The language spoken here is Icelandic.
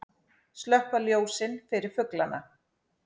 Slökkva ljósin fyrir fuglana